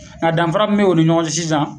Nga danfara min b' o ni ɲɔgɔn cɛ sisan